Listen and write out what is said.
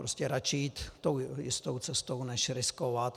Prostě radši jít tou jistou cestou než riskovat.